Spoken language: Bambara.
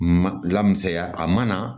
Ma lamusaya a mana